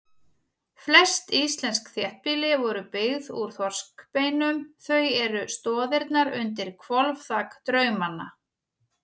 Flest íslensk þéttbýli voru byggð úr þorskbeinum, þau eru stoðirnar undir hvolfþak draumanna.